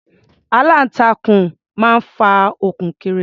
Aláǹtakùn máa ń fa okùn kiri.